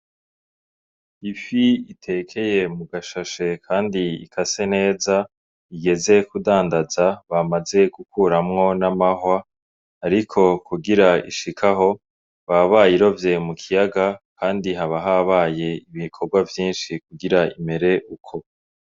Ifi itekeye mugashashe Kandi ikase neza, igeze kudandaza, bamaze gukuramwo n'amahwa, ariko kugira ishik' aho baba bayirovye mukiyaga kandi haba habaye ibikorwa vyinshi kugira imere uko.